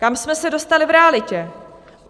Kam jsme se dostali v realitě?